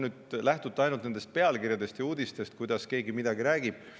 Noh, te ehk lähtute nüüd ainult nendest pealkirjadest ja uudistest ning sellest, kuidas keegi midagi räägib.